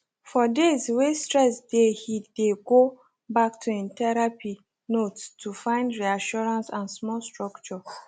for days wey stress dey he dey go back to him therapy notes to find reassurance and small structure